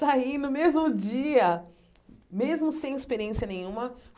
Saí no mesmo dia, mesmo sem experiência nenhuma.